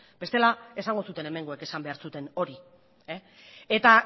bestela esango zuten hemengoek esan behar zuten hori eta